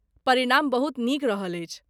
परिणाम बहुत नीक रहल अछि।